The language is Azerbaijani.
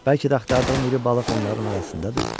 Bəlkə də axtardığım iri balıq onların arasındadır.